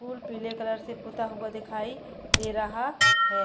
पीले कलर से पुता हुआ दिखाई दे रहा है।